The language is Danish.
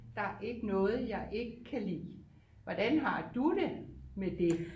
Der er ikke noget jeg ikke kan lide hvordan har du det med det